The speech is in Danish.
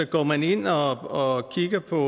går man ind og kigger på